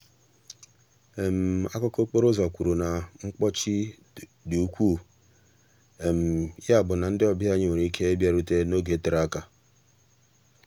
akụkọ okporo ụzọ kwuru na mkpọchi dị ukwuu ya bụ na ndị ọbịa anyị nwere ike ịbịarute n'oge tere aka.